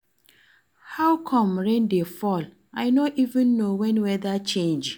How come rain dey fall? I no even know when weather change.